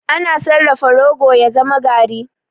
Ana sarrafa rogo ya zama garri.